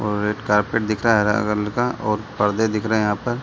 और red carpet दिख रहा है हरा कलर का और परदे दिख रहें हैं यहाँ पर।